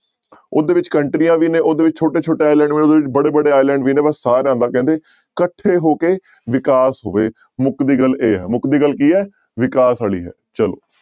ਉਹਦੇ ਵਿੱਚ ਕੰਟਰੀਆਂ ਵੀ ਨੇ ਉਹਦੇ ਵਿੱਚ ਛੋਟੇ ਛੋਟੇ island ਬੜੇ ਬੜੇ island ਵੀ ਨੇ ਕਹਿੰਦੇ ਇਕੱਠੇ ਹੋ ਕੇ ਵਿਕਾਸ ਹੋਵੇ ਮੁਕਦੀ ਗੱਲ ਇਹ ਹੈ ਮੁਕਦੀ ਗੱਲ ਕੀ ਹੈ ਵਿਕਾਸ ਵਾਲੀ ਹੈ ਚਲੋ।